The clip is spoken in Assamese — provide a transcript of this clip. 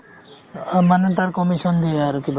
মানে তাৰ commission দিয়ে আৰু কিবা এটা ।